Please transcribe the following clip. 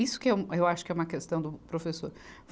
Isso que eu, eu acho que é uma questão do professor.